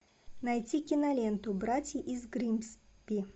найти киноленту братья из гримсби